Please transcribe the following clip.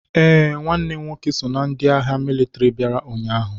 Ee, nwanne m nwoke so na ndị agha mịlịtịrị bịara ụnyaahụ.